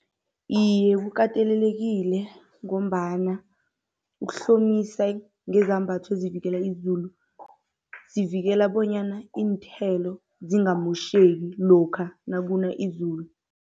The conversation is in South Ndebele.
Iye, kukatelelekile ngombana ukuhlomisa ngezambatho ezivikela izulu, zivikela bonyana iinthelo zingamotjheki lokha nakuna izulu.